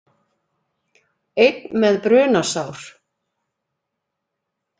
Einn með brunasár